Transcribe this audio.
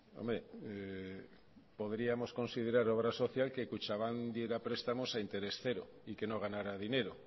hombre podríamos considerar obra social que kutxabank diera prestamos a interés cero y que no ganara dinero